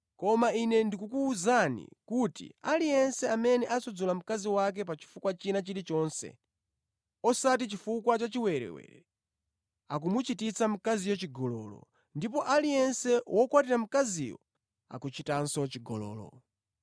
Koma Ine ndikukuwuzani kuti aliyense amene asudzula mkazi wake pa chifukwa china chilichonse osati chifukwa cha chiwerewere, akumuchititsa mkaziyo chigololo ndipo aliyense wokwatira mkaziyo, akuchitanso chigololo.